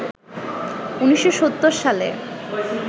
১৯৭০ সালে